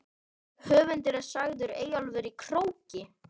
Höfundur er sagður Eyjólfur í Króki.